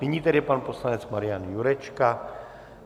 Nyní tedy pan poslanec Marian Jurečka.